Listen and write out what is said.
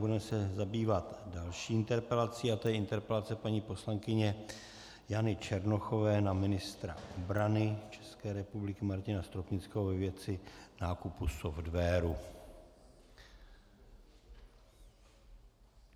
Budeme se zabývat další interpelací a to je interpelace paní poslankyně Jany Černochové na ministra obrany České republiky Martina Stropnického ve věci nákupu softwaru.